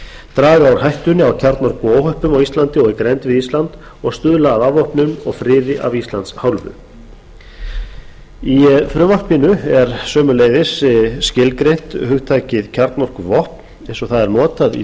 draga úr hættunni á kjarnorkuóhöppum á íslandi og í grennd við ísland og stuðla að afvopnun og friði af íslands hálfu í frumvarpinu er sömuleiðis skilgreint hugtakið kjarnorkuvopn eins og það er notað í